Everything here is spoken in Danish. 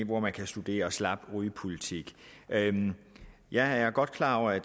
hvor man kan studere slap rygepolitik jeg er godt klar over at